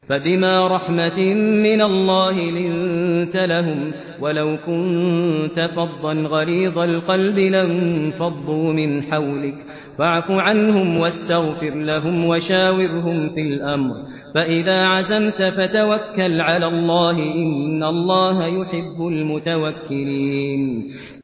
فَبِمَا رَحْمَةٍ مِّنَ اللَّهِ لِنتَ لَهُمْ ۖ وَلَوْ كُنتَ فَظًّا غَلِيظَ الْقَلْبِ لَانفَضُّوا مِنْ حَوْلِكَ ۖ فَاعْفُ عَنْهُمْ وَاسْتَغْفِرْ لَهُمْ وَشَاوِرْهُمْ فِي الْأَمْرِ ۖ فَإِذَا عَزَمْتَ فَتَوَكَّلْ عَلَى اللَّهِ ۚ إِنَّ اللَّهَ يُحِبُّ الْمُتَوَكِّلِينَ